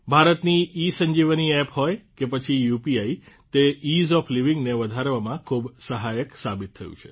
ભારતની ઇસંજીવની એપ હોય કે પછી યુપીઆઇ તે ઇઝ ઓએફ લાઇવિંગ ને વધારવામાં ખૂબ સહાયક સાબિત થયું છે